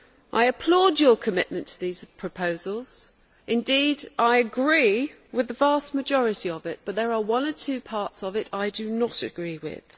I applaud your commitment to these proposals indeed, I agree with the vast majority of them but there are one or two parts that I do not agree with.